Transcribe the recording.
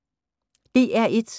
DR1